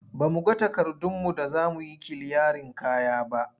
Ba mu ga takardunmu da za mu yi kiliyarin kaya ba.